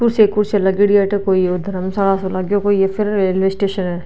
कुर्सी कुर्सी सो लागेड़ी है अठ कोई घर्मशाला सा लगे है या फिर रेलवे स्टेशन है।